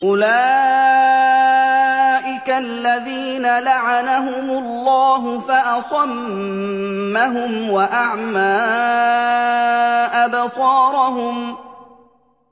أُولَٰئِكَ الَّذِينَ لَعَنَهُمُ اللَّهُ فَأَصَمَّهُمْ وَأَعْمَىٰ أَبْصَارَهُمْ